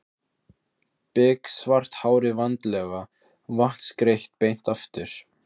Biksvart hárið vandlega vatnsgreitt beint aftur.